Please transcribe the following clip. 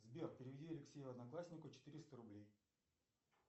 сбер переведи алексею однокласснику четыреста рублей